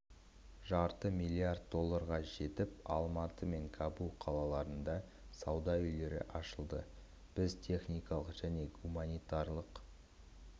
жарты миллиард долларға жетіп алматы мен кабул қалаларында сауда үйлері ашылды біз техникалық және гуманитарлық